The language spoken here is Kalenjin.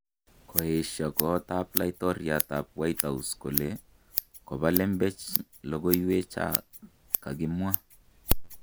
koesha kot ab laitoriat ab White House kole koba lemmbechek logoywek cha kikakimwa